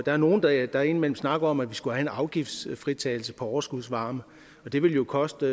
er nogle der der indimellem snakker om at vi skulle have en afgiftsfritagelse på overskudsvarme og det ville jo koste